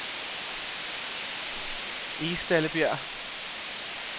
Egstallebjerg